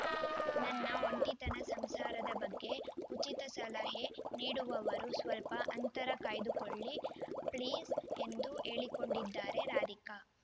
ನನ್ನ ಒಂಟಿತನ ಸಂಸಾರದ ಬಗ್ಗೆ ಉಚಿತ ಸಲಹೆ ನೀಡುವವರು ಸ್ವಲ್ಪ ಅಂತರ ಕಾಯ್ದುಕೊಳ್ಳಿ ಪ್ಲೀಸ್‌ ಎಂದು ಹೇಳಿಕೊಂಡಿದ್ದಾರೆ ರಾಧಿಕಾ